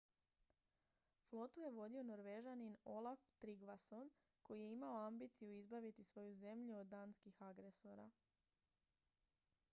flotu je vodio norvežanin olaf trygvasson koji je imao ambiciju izbaviti svoju zemlju od danskih agresora